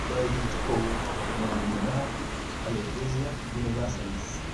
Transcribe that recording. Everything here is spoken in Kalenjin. Amdoi pich kou nee miondop Alopecia universalis